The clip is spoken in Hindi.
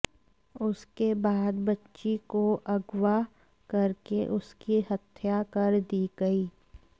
उसके बाद बच्ची को अगवा करके उसकी हत्या कर दी गई